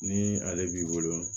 Ni ale b'i bolo